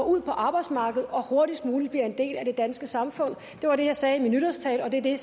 ud på arbejdsmarkedet og hurtigst muligt blive en del af det danske samfund det var det jeg sagde i min nytårstale og det er det